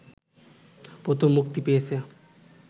প্রথম মুক্তি পেয়েছে